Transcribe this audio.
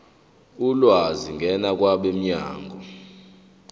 ulwazi ngena kwabomnyango